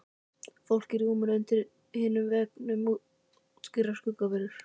Fólkið á rúmunum undir hinum veggnum óskýrar skuggaverur.